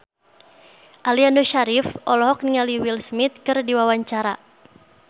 Aliando Syarif olohok ningali Will Smith keur diwawancara